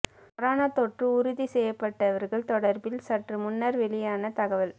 corona தொற்று உறுதி செய்யப்பட்டவர்கள் தொடர்பில் சற்று முன்னர் வெளியான தகவல்